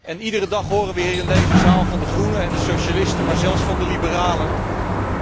En elke dag horen wij hier in deze zaal van de Groenen en de Socialisten, en zelfs van de Liberalen